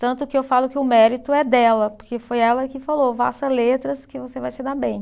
Tanto que eu falo que o mérito é dela, porque foi ela que falou, faça letras que você vai se dar bem.